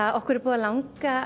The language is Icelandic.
okkur hefur langað